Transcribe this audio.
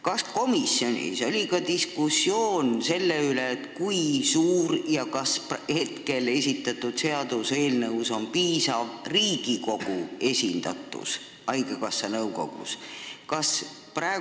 Kas komisjonis oli ka diskussioon selle üle, kas seaduseelnõuga pakutav Riigikogu esindatus haigekassa nõukogus on piisav?